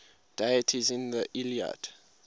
deities in the iliad